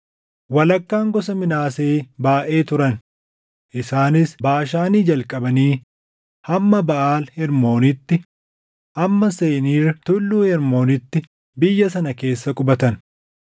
Walakkaan gosa Minaasee baayʼee turan; isaanis Baashaanii jalqabanii hamma Baʼaal Hermooniitti, hamma Seniir Tulluu Hermoonitti biyya sana keessa qubatan.